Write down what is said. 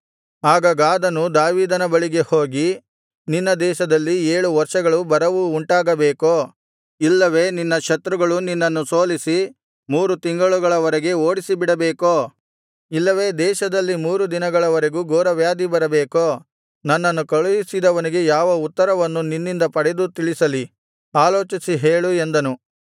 ಆಗ ಗಾದನು ದಾವೀದನ ಬಳಿಗೆ ಹೋಗಿ ನಿನ್ನ ದೇಶದಲ್ಲಿ ಏಳು ವರ್ಷಗಳು ಬರವು ಉಂಟಾಗಬೇಕೋ ಇಲ್ಲವೆ ನಿನ್ನ ಶತ್ರುಗಳು ನಿನ್ನನ್ನು ಸೋಲಿಸಿ ಮೂರು ತಿಂಗಳಗಳವರೆಗೆ ಓಡಿಸಿಬಿಡಬೇಕೋ ಇಲ್ಲವೆ ನಿನ್ನ ದೇಶದಲ್ಲಿ ಮೂರು ದಿನಗಳವರೆಗೂ ಘೋರವ್ಯಾಧಿ ಬರಬೇಕೋ ನನ್ನನ್ನು ಕಳುಹಿಸಿದವನಿಗೆ ಯಾವ ಉತ್ತರವನ್ನು ನಿನ್ನಿಂದ ಪಡೆದು ತಿಳಿಸಲಿ ಆಲೋಚಿಸಿ ಹೇಳು ಎಂದನು